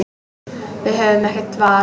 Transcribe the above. Við höfðum ekkert val.